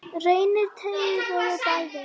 Reynir tregaði þau bæði.